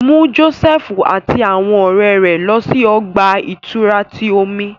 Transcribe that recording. Mu Josefu ati awọn ọrẹ rẹ lọ si ọgba-ìturá ti omi!